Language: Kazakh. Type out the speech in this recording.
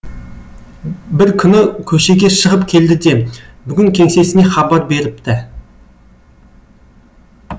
бір күні көшеге шығып келді де бүгін кеңсесіне хабар беріпті